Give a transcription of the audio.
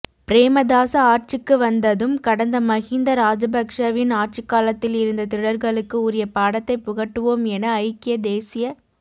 பிரேமதாச ஆட்சிக்கு வந்ததும் கடந்த மஹிந்த ராஜபக்ஸவின் ஆட்சிக்காலத்தில் இருந்த திருடர்களுக்கு உரிய பாடத்தை புகட்டுவோம் என ஐக்கிய தேசியக்